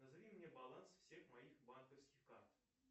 назови мне баланс всех моих банковских карт